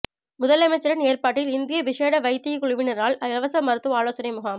முதலமைச்சரின் ஏற்பாட்டில் இந்திய விஷேட வைத்தியக்குழுவினரால் இலவச மருத்துவ ஆலோசனை முகாம்